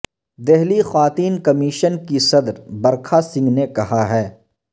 دہلی خواتین کمیشن کی صدر برکھا سنگھ نے کہا ہ